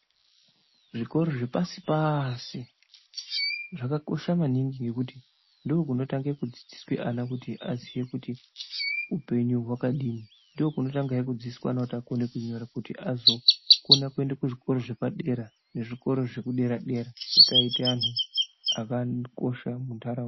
Zvikoro zvepasi pasi zvakakosha maningi ngekuti ndokunotange kudzidziswe ana kuti aziye kuti upenyu hwakadini , ndokunotangahe kudzidziswa ana kuti akone kunyora kuti azokone kuenda kuzvikora zvepadera nezvikoro zvekudera dera kutiaite antu akakosha muntaraunda.